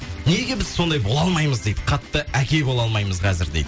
неге біз сондай бола алмаймыз дейді қатты әке бола алмаймыз қазір дейді